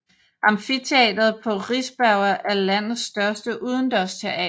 Amfiteatret på Riseberga er landets største udendørsteater